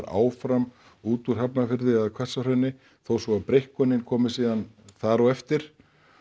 áfram út úr Hafnarfirði eða Hvassahrauni þó svo að breikkunin komi síðan þar á eftir